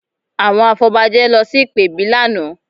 Àwọn afọbajẹ lọ sí ìpèbí lánàá